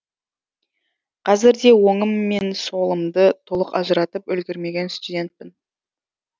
қазір де оңым мен солымды толық ажыратып үлгермеген студентпін